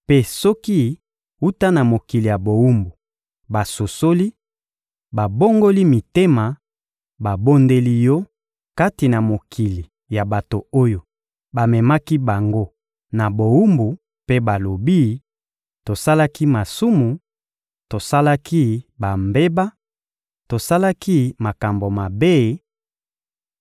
mpe soki, wuta na mokili ya bowumbu, basosoli, babongoli mitema, babondeli Yo kati na mokili ya bato oyo bamemaki bango na bowumbu mpe balobi: ‹Tosalaki masumu, tosalaki bambeba, tosalaki makambo mabe;›